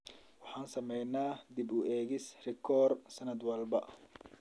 Waxaan sameynaa dib u eegis rikoor sanad walba.